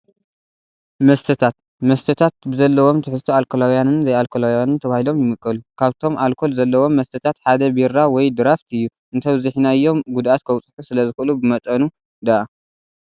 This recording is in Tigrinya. መስተታት፡- መስተታት ብዘለዎም ትሕዝቶ ኣልኮላውያንን ዘይኣኮላውያንን ተባሂሎም ይምቀሉ፡፡ ካብቶም ኣልኮል ዘለዎም መስተታት ሓደ ቢራ ወይ ድራፍት እዩ፡፡ እንተብዚሕናዮም ጉድኣት ከብፅሑ ስለዝኽእሉ ብመጠኑ ዳኣ፡፡